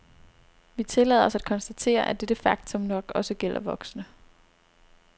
Vi tillader os at konstatere, at dette faktum nok også gælder voksne.